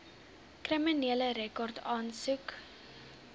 kriminele rekord aansoek